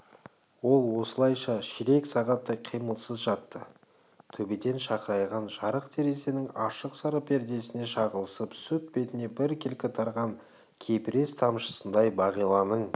ол осылайша ширек сағаттай қимылсыз жатты төбеден шақырайған жарық терезенің ашық сары пердесіне шағылысып сүт бетіне біркелкі тараған кепірез тамшысындай бағиланың